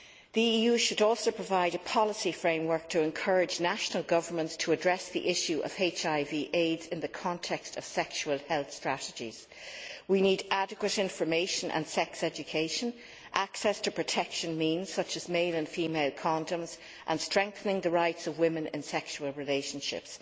The EU should also provide a policy framework to encourage national governments to address the issue of HIV AIDS in the context of sexual health strategies. We need adequate information and sex education, access to protection means, such as male and female condoms, and strengthening the rights of women in sexual relationships.